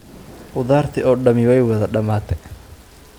Khudaartii oo dhami way wada damatee?